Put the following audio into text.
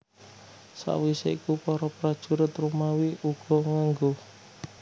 Sawisé iku para prajurit Romawi uga ngenggo